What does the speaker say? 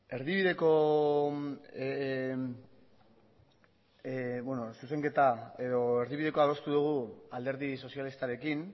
erdibideko zuzenketa edo erdibidekoa adostu dugu alderdi sozialistarekin